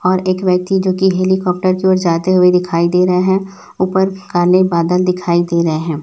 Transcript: और एक व्यक्ति जो की हेलीकॉप्टर की ओर जाते हुए दिखाई दे रहें हैं ऊपर काले बादल दिखाई दे रहें हैं।